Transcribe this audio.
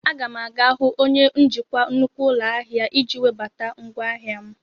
A ga m aga hụ onye njikwa nnukwu ụlọ ahịa iji webata ngwaahịa m.